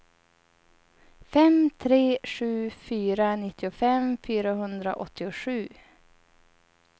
fem tre sju fyra nittiofem fyrahundraåttiosju